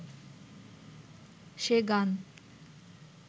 সে গান